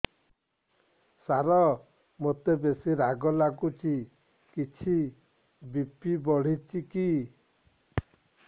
ସାର ମୋତେ ବେସି ରାଗ ଲାଗୁଚି କିଛି ବି.ପି ବଢ଼ିଚି କି